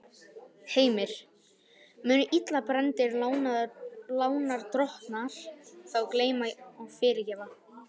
Heimir: Munu illa brenndir lánadrottnar þá gleyma og fyrirgefa?